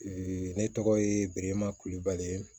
ne tɔgɔ ye berema kulubali